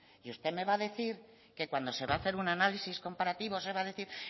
y usted me va a decir que cuando se va a hacer un análisis comparativo se va a decir